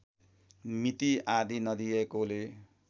मिति आदि नदिएकोले